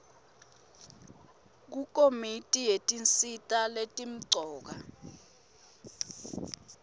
kukomiti yetinsita letimcoka